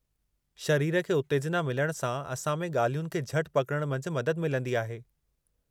शरीर खे उत्तेजना मिलण सां असां में, ॻाल्हियुनि खे झटि पकड़ण मंझि मदद मिलंदी आहे।